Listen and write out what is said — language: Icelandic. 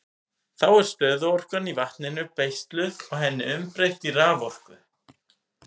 Þá er stöðuorkan í vatninu beisluð og henni umbreytt í raforku.